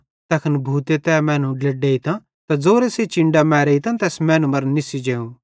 तैखन भूते तै मैनू ड्लेडेइतां त ज़ोरे सेइं चिन्डां मेरतां तैस मैनू मरां निस्सी जेव